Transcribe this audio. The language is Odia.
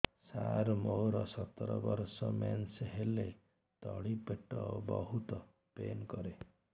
ସାର ମୋର ସତର ବର୍ଷ ମେନ୍ସେସ ହେଲେ ତଳି ପେଟ ବହୁତ ପେନ୍ କରେ